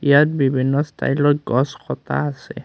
ইয়াত বিভিন্ন ষ্টাইলত গছ কটা আছে।